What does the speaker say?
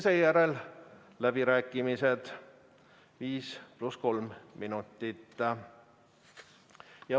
Seejärel algavad läbirääkimised, 5 + 3 minutit.